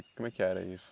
Como é que era isso?